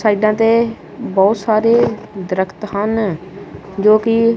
ਸਾਈਡਾਂ ਤੇ ਬਹੁਤ ਸਾਰੇ ਦਰਖਤ ਹਨ ਜੋ ਕਿ--